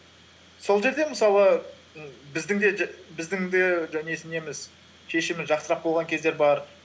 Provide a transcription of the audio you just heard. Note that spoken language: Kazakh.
сол жерде мысалы біздің де неміз шешіміміз жақсырақ болған кезде бар